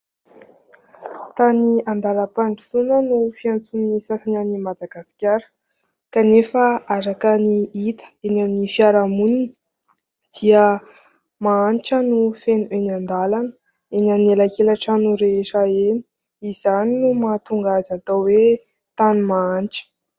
Tany andalam-pandrosoana no fiantsoan'ny sasany an'i Madagasikara. Kanefa araka ny hita eny amin'ny fiarahamonina dia mahantra no feno eny an-dalana, eny amin'ny elakela-trano rehetra eny. Izany no mahatonga azy atao hoe tany mahantra.